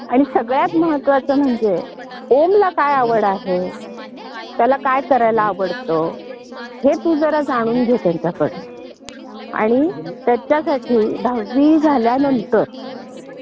त्यामुळे बीकॉम होण्यापेक्षा नुसता बीकॉम प्रोफेशनल झाला ही व्यवसाय ज्ञानही मिळतं आणि तुम्ही अधिक चांगल्या प्रकारे काम करू शकता. आणि हा एक पारंपरिक